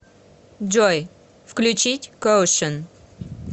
джой включить коушн